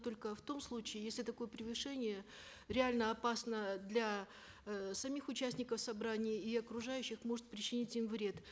только в том случае если такое превышение реально опасно для э самих участников собраний и окружающих может причинить им вред